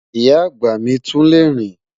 Ìyá agba mi tún le rín